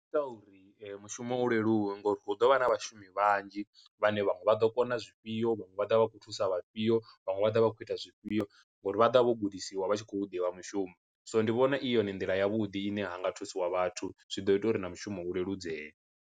Zwi ita uri mushumo u leluwe ngori hu ḓovha na vhashumi vhanzhi vhane vhaṅwe vha ḓo kona zwifhio vhaṅwe vha ḓovha vha kho thusa vhafhio vhaṅwe vha ḓa vha khou ita zwifhio, ngori vha ḓa vho gudisiwa vha tshi khou ḓivha mushumo. so ndi vhona i yone nḓila ya vhuḓi ine ha nga thusiwa vhathu zwi ḓo ita uri na mushumo u leludzeye.